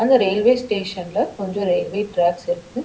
அந்த ரயில்வே ஸ்டேஷன்ல கொஞ்ச ரயில்வே ட்ராக்ஸ் இருக்கு.